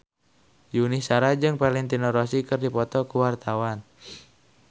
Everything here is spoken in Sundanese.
Yuni Shara jeung Valentino Rossi keur dipoto ku wartawan